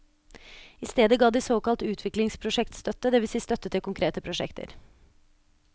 I stedet ga de såkalt utviklingsprosjektsstøtte, det vil si støtte til konkrete prosjekter.